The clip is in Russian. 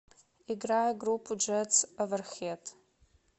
играй группу джетс оверхед